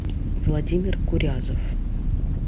владимир курязов